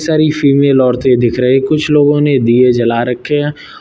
सारी फीमेल औरतें दिख रही कुछ लोगों ने दिए जला रखे हैं।